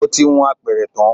Mo ti hun apẹ̀rẹ̀ tán